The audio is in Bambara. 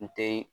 N te